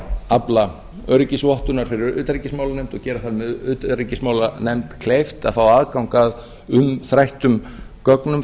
afla öryggisvottunar fyrir utanríkismálanefnd og gera það með utanríkismálanefnd kleift að fá aðgang að umræddum gögnum